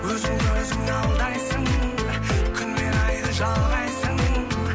өзіңді өзің алдайсың күнмен айды жалғайсың